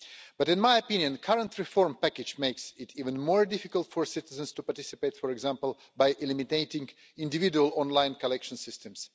But, in my opinion, the current reform package makes it even more difficult for citizens to participate, for example, by eliminating individual online collection systems.